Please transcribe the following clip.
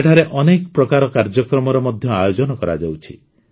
ସେଠାରେ ଅନେକ ପ୍ରକାର କାର୍ଯ୍ୟକ୍ରମର ମଧ୍ୟ ଆୟୋଜନ କରାଯାଉଛି